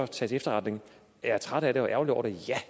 til efterretning er jeg træt af det og ærgerlig over det ja